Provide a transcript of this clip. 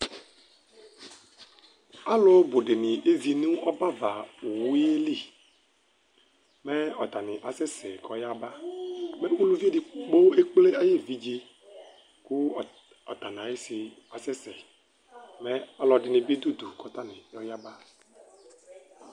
Alubʋ dini kezi nʋ ɔbɛavaowu yɛ li, mɛ atani asɛ sɛ kʋ ayaba Uluvi edigbo ekple ayu evidze, kʋ ɔta nʋ ayisi asɛsɛ Mɛ ɔlɔdɩ ni bɩ du udu kʋ atani ayaba